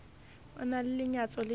o na le lenyatso le